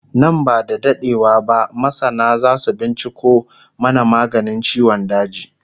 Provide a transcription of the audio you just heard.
Nan ba da daɗewa ba masana zasu binciko mana maganin ciwon daji